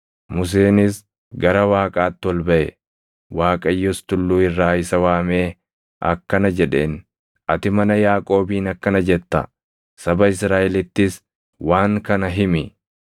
Museenis gara Waaqaatti ol baʼe; Waaqayyos tulluu irraa isa waamee akkana jedheen; “Ati mana Yaaqoobiin akkana jetta; saba Israaʼelittis waan kana himi: